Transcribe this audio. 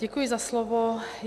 Děkuji za slovo.